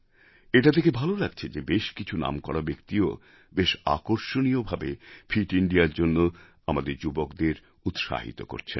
এটা দেখে ভাল লাগছে যে বেশ কিছু নামকরা ব্যক্তিও বেশ আকর্ষণীয় ভাবে ফিট Indiaর জন্য আমাদের যুবকদের উৎসাহিত করছেন